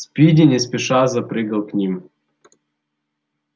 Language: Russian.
спиди не спеша запрыгал к ним